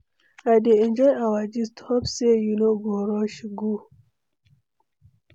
I dey enjoy our gist, hope say you no go rush go?